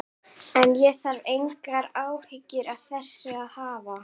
En ég þarf engar áhyggjur af þessu að hafa.